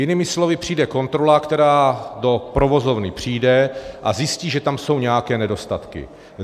Jinými slovy, přijde kontrola, která do provozovny přijde a zjistí, že tam jsou nějaké nedostatky.